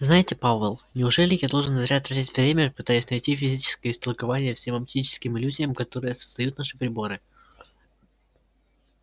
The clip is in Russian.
знаете пауэлл неужели я должен зря тратить время пытаясь найти физическое истолкование всем оптическим иллюзиям которые создают наши приборы